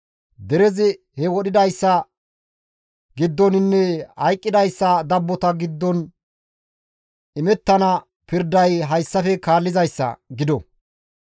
derezi he wodhidayssa giddoninne hayqqidayssa dabbota giddon imettana pirday hayssafe kaallizayssa gido.